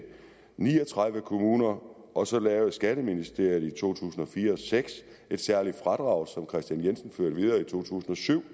ni og tredive kommuner og så lavede skatteministeriet i to tusind og fire seks et særligt fradrag som herre kristian jensen førte videre i to tusind og syv